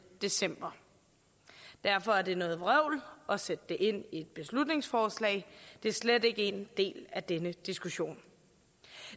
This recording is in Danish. december derfor er det noget vrøvl at sætte det ind i et beslutningsforslag det er slet ikke en del af denne diskussion